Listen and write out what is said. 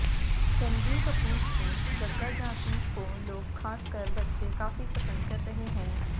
रणबीर कपूर की जग्गा जासूस को लोग खासकर बच्चे काफी पसंद कर रहे हैं